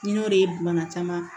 Ni n'o de ye bana caman